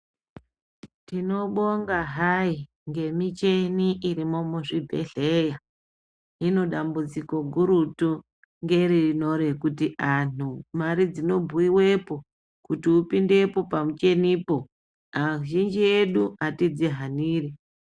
Tinobonga hai ngemicheni irimo muzvibhehleya hino dambudziko redu gurutu ngerino rekuti anhu mare dzinobhuyiwepo kuti upindepo pamuchenipo azhinji edu atidzihaniri.